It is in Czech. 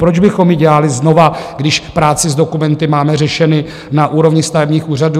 Proč bychom ji dělali znovu, když práci s dokumenty máme řešenu na úrovni stavebních úřadů.